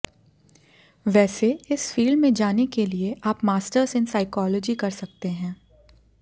वैसे इस फील्ड में जाने के लिए आप मास्टर्स इन साइकॉलजी कर सकते हैं